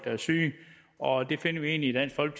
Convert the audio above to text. er syge og det finder vi egentlig